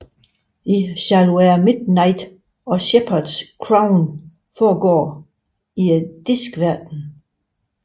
I Shall Wear Midnight og Shepherds crown foregår i Diskverdenen